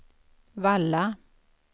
Valla